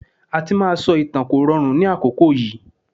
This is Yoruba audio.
Àti máa sọ ìtàn kò rọrùn ní àkókò yìí.